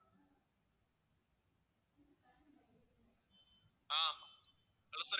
ah hello sir